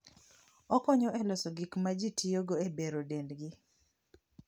Okonyo e loso gik ma ji tiyogo e bero dendgi.